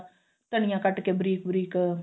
ਧਨੀਆ ਕੱਟ ਕੇ ਬਰੀਕ ਬਰੀਕ